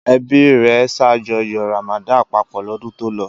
Ẹbí rẹ̀ ṣàjọyọ̀ Ramadan papọ̀ lọ́dún tó lọ?